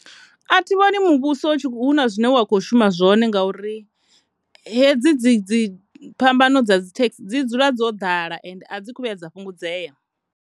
A thi vhoni muvhuso hu na zwine wa kho shuma zwone ngauri hedzi, dzi, dzi phambano dza dzithekhi dzi dzula dzo ḓala ende a dzi kho vhuya dza fhungudzea.